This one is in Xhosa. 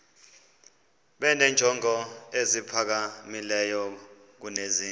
benenjongo eziphakamileyo kunezi